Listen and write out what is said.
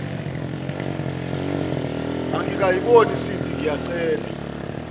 angikayiboni sindi ngiyacela